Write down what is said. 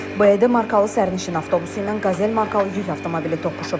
Belə ki, BDD markalı sərnişin avtobusu ilə Qazel markalı yük avtomobili toqquşub.